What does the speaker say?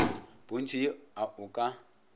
pontšhong ye a o ka